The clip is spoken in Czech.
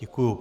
Děkuji.